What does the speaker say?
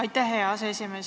Aitäh, hea aseesimees!